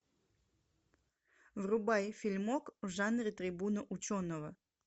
врубай фильмок в жанре трибуна ученого